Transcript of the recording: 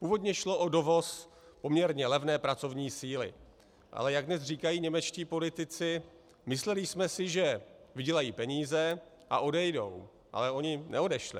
Původně šlo o dovoz poměrně levné pracovní síly, ale jak dnes říkají němečtí politici - mysleli jsme si, že vydělají peníze a odejdou, ale oni neodešli.